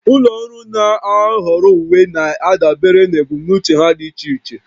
Ụlọ ọrụ na-ahọrọ uwe na-adabere na ebumnuche ha dị iche iche